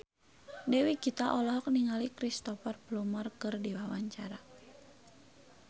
Dewi Gita olohok ningali Cristhoper Plumer keur diwawancara